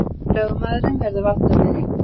Lögmaðurinn verður valdameiri